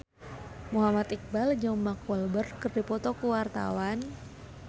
Muhammad Iqbal jeung Mark Walberg keur dipoto ku wartawan